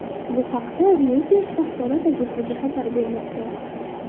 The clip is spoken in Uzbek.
Bu haqda Reuters axborot agentligi xabar bermoqda .